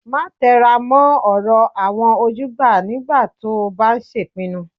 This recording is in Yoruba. Máa tẹra mọ́ ọ̀rọ̀ àwọn ojúgbà nígbà tó o bá ń ṣèpinnu